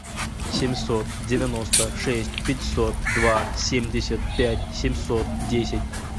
семьсот девяносто шесть пятьсот два семьдесят пять семьсот десять